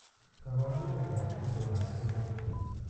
Kabarunetab itondoab emet